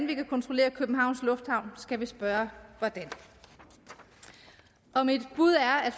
vi kan kontrollere københavns lufthavn skal vi spørge hvordan og mit bud er at